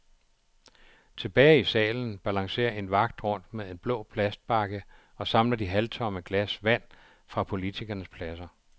Tilbage i salen balancerer en vagt rundt med en blå plastbakke og samler de halvtomme glas vand fra politikernes pladser.